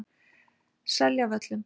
Seljavöllum